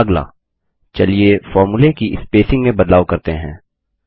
अगला चलिए फ़ॉर्मूले की स्पेसिंग में बदलाव करते हैं